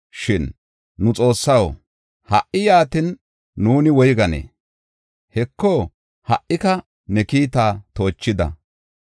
“Shin nu Xoossaw, ha77i yaatin, nuuni woyganee? Heko ha77ika ne kiita toochida.